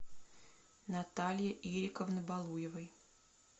натальи ирековны балуевой